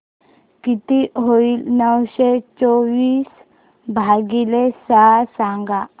किती होईल नऊशे चोवीस भागीले सहा सांगा